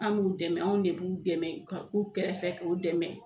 Anw b'u dɛmɛ anw de b'u dɛmɛ k'u kɛrɛfɛ k'u dɛmɛ